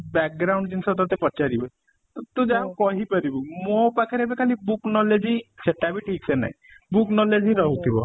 ଜିନିଷ ତତେ ପଚାରିବେ ତ ତୁ ଯାହା ହଉ କହି ପାରିବୁ ମୋ ପାଖରେ ଏବେ ଖାଲି book knowledge ହିଁ ସେଟା ବି ଠିକ ସେ ନାଇଁ book knowledge ହିଁ ଖାଲି ରହୁଥିବ